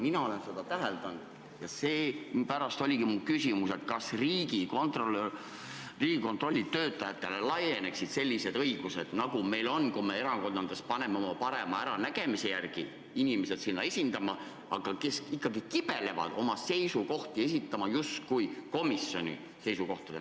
Mina olen seda täheldanud ja seepärast oligi mu küsimus, kas Riigikontrolli töötajatele laieneksid sellised õigused, nagu meil on, kui me erakondades paneme oma parema äranägemise järgi inimesed sinna komisjoni, aga nad kibelevad oma seisukohti esitama komisjoni seisukohtadena.